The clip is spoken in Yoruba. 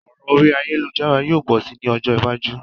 Òràn orí ayélujára yio pò si ni ojó iwájú